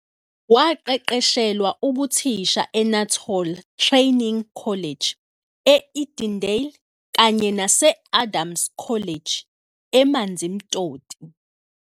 Waqeqeshelwa ubuthisha eNuttall Training College, e-Edendale kanye nase-Adams College, e-Amanzimtoti.